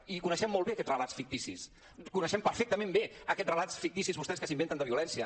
i coneixem molt bé aquests relats ficticis coneixem perfectament bé aquests relats ficticis vostès que s’inventen de violència